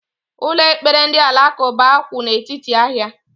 Ụlọ ekpere ndị Alakuba kwu n' etiti ahia